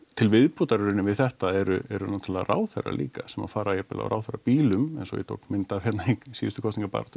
til viðbótar við þetta eru eru náttúrulega ráðherrar líka sem að fara jafnvel á ráðherrabílum eins og ég tók mynd af í síðustu kosningabaráttu